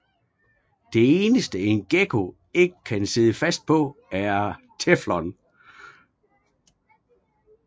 Det eneste en gekko ikke kan sidde fast på er teflon